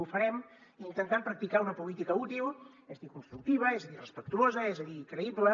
ho farem intentant practicar una política útil és a dir constructiva és a dir respectuosa és a dir creïble